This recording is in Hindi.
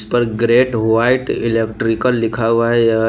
इस पर ग्रेट व्हाईट इलेक्ट्रिकल लिखा हुआ है यह --